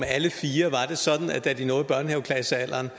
alle fire var det sådan at da de nåede børnehaveklassealderen